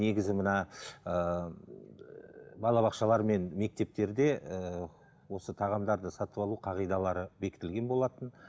негізі мына ыыы балабақшалар мен мектептерде ііі осы тағамдарды сатып алу қағидалары бекітілген болатын